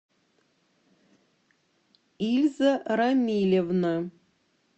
эльза рамилевна